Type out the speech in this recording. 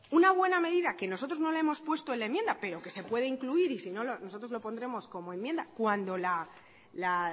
una buena medida que nosotros no hemos puesto en la enmienda pero que se puede incluir y si no nosotros lo pondremos como enmienda cuando la